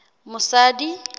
mosadi